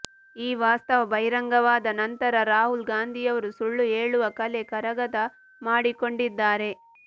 ಈ ವಾಸ್ತವ ಬಹಿರಂಗವಾದ ನಂತರ ರಾಹುಲ್ ಗಾಂಧಿಯವರು ಸುಳ್ಳು ಹೇಳುವ ಕಲೆ ಕರಗತ ಮಾಡಿಕೊಂಡಿದ್ದಾರೆ